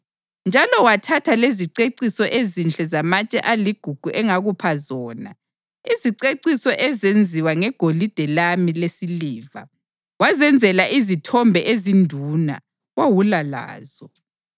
Njalo wathatha leziceciso ezinhle zamatshe aligugu engakupha zona, iziceciso ezenziwa ngegolide lami lesiliva, wazenzela izithombe ezinduna wawula lazo.